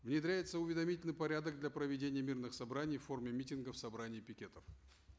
внедряется уведомительный порядок для проведения мирных собраний в форме митингов собраний пикетов